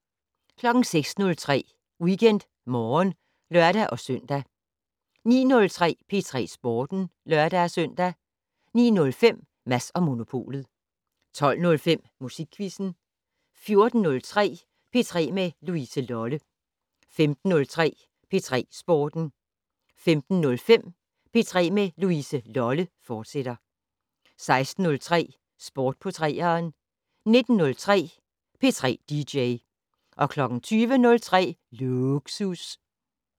06:03: WeekendMorgen (lør-søn) 09:03: P3 Sporten (lør-søn) 09:05: Mads & Monopolet 12:05: Musikquizzen 14:03: P3 med Louise Lolle 15:03: P3 Sporten 15:05: P3 med Louise Lolle, fortsat 16:03: Sport på 3'eren 19:03: P3 dj 20:03: Lågsus